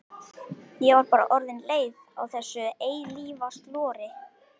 Ég var bara orðin leið á þessu eilífa slori.